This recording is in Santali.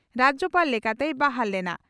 (ᱨᱟᱡᱭᱚᱯᱟᱲ) ᱞᱮᱠᱟᱛᱮᱭ ᱵᱟᱦᱟᱞ ᱞᱮᱱᱟ ᱾